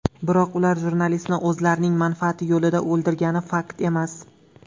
Biroq ular jurnalistni o‘zlarining manfaati yo‘lida o‘ldirgani fakt emas.